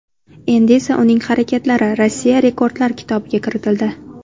Endi esa uning harakatlari Rossiya Rekordlar kitobiga kiritildi.